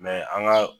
Mɛ an ka